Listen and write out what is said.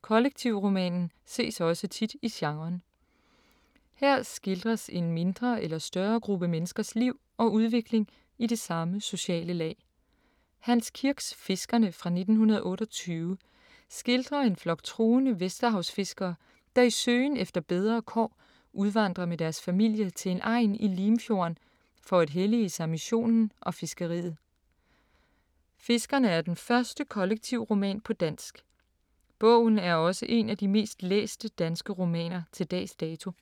Kollektivromanen ses også tit i genren. Her skildres en mindre eller større gruppe menneskers liv og udvikling i det samme sociale lag. Hans Kirks Fiskerne fra 1928 skildrer en flok troende vesterhavsfiskere, der i søgen efter bedre kår udvandrer med deres familier til en egn i Limfjorden for at hellige sig missionen og fiskeriet. Fiskerne er den første kollektivroman på dansk. Bogen er også en af de mest læste danske romaner til dags dato.